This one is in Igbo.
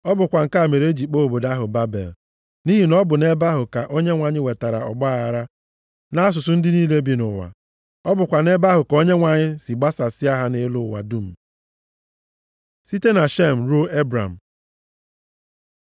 Ọ bụkwa nke a mere e ji kpọọ obodo ahụ Babel + 11:9 Babel ya bụ Babilọn pụtara ọgbaaghara nʼasụsụ Hibru. nʼihi na ọ bụ nʼebe ahụ ka Onyenwe anyị wetara ọgbaaghara nʼasụsụ ndị niile bi nʼụwa. Ọ bụkwa nʼebe ahụ ka Onyenwe anyị si gbasasịa ha nʼelu ụwa dum. Site na Shem ruo Ebram